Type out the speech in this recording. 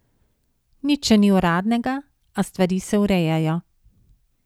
Nič še ni uradnega, a stvari se urejajo.